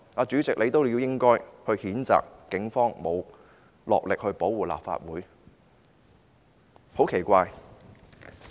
主席也應該譴責警方沒有落力保護立法會，此事很奇怪。